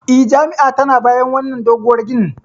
E, jami'a tana bayan wannan doguwar ginin.